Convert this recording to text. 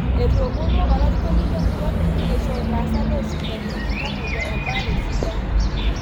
Etoomonuo olarikon le murua peyia eisho ilaasak loosipitalini iltamuoyia embaare sidai